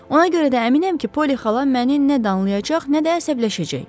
Ona görə də əminəm ki, Poli xala məni nə danlayacaq, nə də əsəbləşəcək.